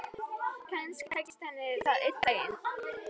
Kannski tækist henni það einn daginn.